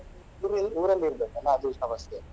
ಊರಲ್ಲಿ ಇರ್ಬೇಕಲ್ಲ ಅದು ಸಮಸ್ಯೆ.